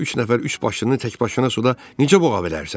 Sən üç nəfər üçbaşlını təkbaşına suda necə boğa bilərsən?